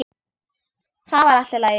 Það var allt í lagi.